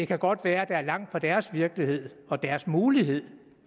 kan godt være at der er langt fra deres virkelighed og deres mulighed